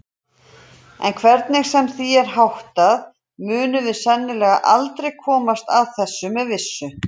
En hvernig sem því er háttað munum við sennilega aldrei komast að þessu með vissu.